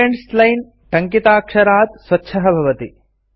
students line टङ्किताक्षरात् स्वच्छः अस्ति